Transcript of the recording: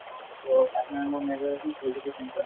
তʼ মোৰ major আছিল political science ত